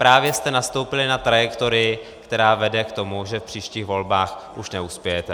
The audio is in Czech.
Právě jste nastoupili na trajektorii, která vede k tomu, že v příštích volbách už neuspějete.